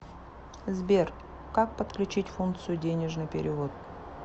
сбер как подключить функцию денежный перевод